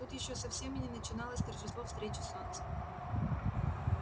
тут ещё совсем и не начиналось торжество встречи солнца